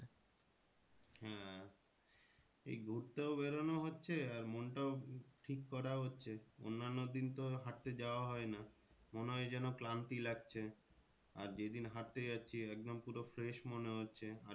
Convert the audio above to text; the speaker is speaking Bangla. হ্যাঁ এই ঘুরতেও বেরোনো হচ্ছে আর মনটাও ঠিক করা হচ্ছে অন্যান্য দিন তো হাঁটতে যাওয়া হয় না মনে হয় যেন ক্লান্তি লাগছে আর যে দিন হাঁটতে গেছি একদম পুরো fresh মনে হচ্ছে। আর